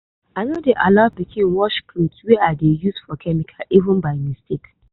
i no dey allow pikin wash cloth wey i dey use for chemical even by mistake.